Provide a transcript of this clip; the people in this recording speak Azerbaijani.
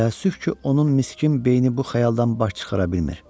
Təəssüf ki, onun miskin beyni bu xəyaldan baş çıxara bilmir.